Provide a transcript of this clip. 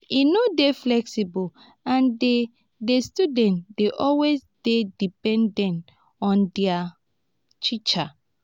e no dey flexible and di di students dey always dey dependent on their teacher